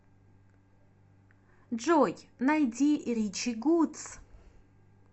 джой найди ричи гудс